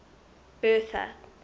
bertha